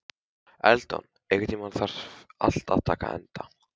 Eldon, einhvern tímann þarf allt að taka enda.